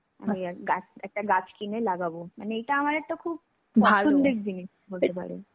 মানে গাছ একটা গাছ কিনে লাগবো. মানে এটা একটা খুব পছন্দের জিনিস বলতে পারো.